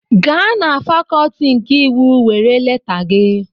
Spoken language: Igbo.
Gaa na fakọlti nke iwu were leta gị!